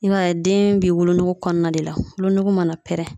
I b'a ye den bɛ wolonugu kɔnɔna de la, wolonugu mana pɛrɛn.